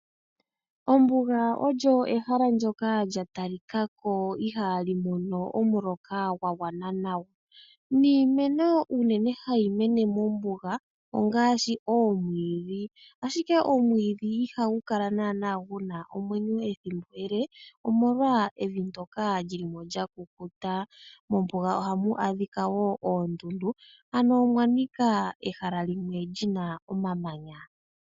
Ombuga olyo ehala ndyoka lya talika ko ihali mono omuloka gwa gwana nawa, niimeno unene hayi mene mombuga ongaashi oomwiidhi ashike omwiidhi ihagu kala naana gu na omwenyo ethimbo ele. Omolwa evi ndoka lyi li mo lya kukuta. Mombuga oha mu adhika woo oondundu, ano omwa nika ehala limwe li na omamanya.